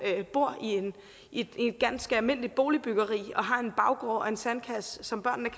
bor i et ganske almindeligt boligbyggeri og har en baggård og en sandkasse som børnene